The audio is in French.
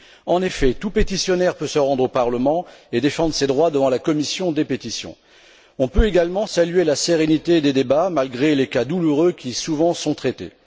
En effet, tout pétitionnaire peut se rendre au Parlement et défendre ses droits devant la commission des pétitions. Nous pouvons également saluer la sérénité de ses débats, malgré les cas souvent douloureux qui y sont traités.